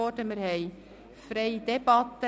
Wir führen eine freie Debatte.